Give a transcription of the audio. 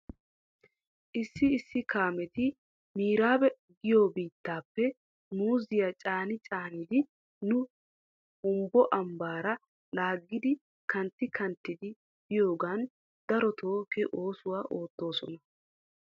Issi issi kaameti miraabe giyoo biittappe muuziyaa caani caanidi nu humbbo ambbaara laagidi kantti kanttidi biyoogan daroto he oosuwaa oottoosona.